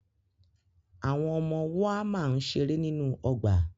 Àwọn ọmọ woama ń ṣeré nínú ọgbà